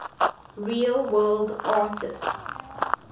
real world artists